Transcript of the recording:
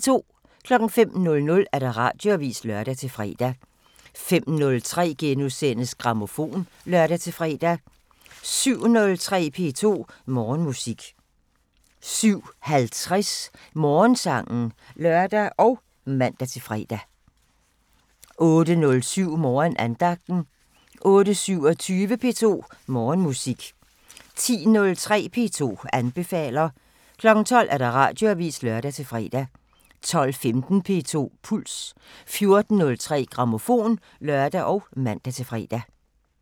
05:00: Radioavisen (lør-fre) 05:03: Grammofon *(lør-fre) 07:03: P2 Morgenmusik 07:50: Morgensangen (lør og man-fre) 08:07: Morgenandagten 08:27: P2 Morgenmusik 10:03: P2 anbefaler 12:00: Radioavisen (lør-fre) 12:15: P2 Puls 14:03: Grammofon (lør og man-fre)